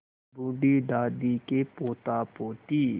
बूढ़ी दादी के पोतापोती